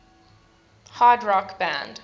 hard rock band